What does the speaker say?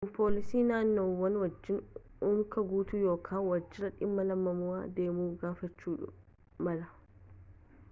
kun poolisii naannawaa wajjiin unka guutuu yookaan waajjira dhimma lammummaa deemuu gaafachuu mala